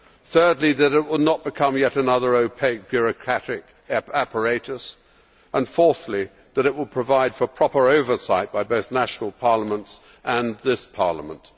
thirdly, that it will not become yet another opaque bureaucratic apparatus and, fourthly, that it will provide for proper oversight by both national parliaments and this Parliament.